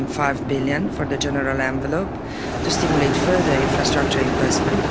1.5 billion for the general envelope to stimulate further infrastructure investment.